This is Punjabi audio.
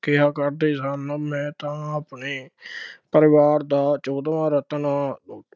ਕਿਹਾ ਕਰਦੇ ਸਨ, ਮੈਂ ਤਾਂ ਆਪਣੇ ਪਰਿਵਾਰ ਦਾ ਚੋਦਵਾਂ ਰਤਨ ਹਾਂ,